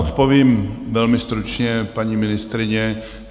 Odpovím velmi stručně, paní ministryně.